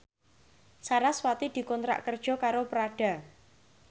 sarasvati dikontrak kerja karo Prada